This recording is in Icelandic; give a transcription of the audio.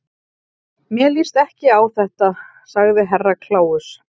Mér líst ekki á þetta, sagði Herra Kláus.